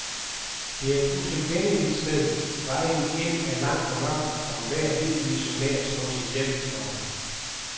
Det er et utilgængeligt sted, vejen ind er lang og mørk, og enhver hvid missionær slås ihjel, står der.